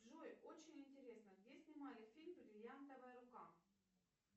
джой очень интересно где снимали фильм бриллиантовая рука